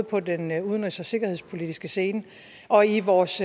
på den udenrigs og sikkerhedspolitiske scene og i vores